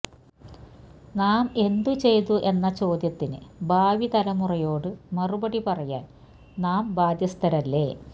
നാം എന്തുചെയ്തു എന്ന ചോദ്യത്തിന് ഭാവി തലമുറയോട് മറുപടിപറയാന് നാം ബാധ്യസ്തരല്ലേ